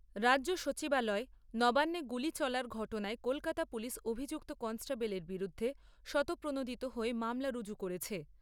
রাজ্য সচিবালয় নবান্নে গুলি চলার ঘটনায় কলকাতা পুলিশ অভিযুক্ত কনস্টেবলের বিরুদ্ধে স্বতঃপ্রণোদিত হয়ে মামলা ঋজু করেছে।